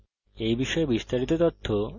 এই বিষয়ে বিস্তারিত তথ্য এই link প্রাপ্তিসাধ্য